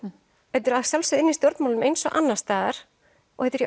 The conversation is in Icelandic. þetta er að sjálfsögðu inni í stjórnmálunum eins og annars staðar og þetta er í